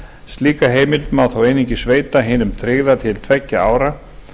slíka heimild má þó einungis veita hinum tryggða til tveggja ára